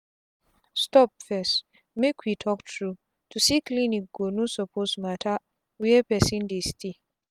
stop firstmake we talk true to see clinic go no suppose matter where person dey stay. um